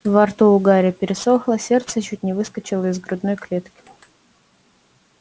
во рту у гарри пересохло сердце чуть не выскочило из грудной клетки